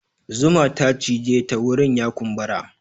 Zuma ta cije ta wurin ya kumbura.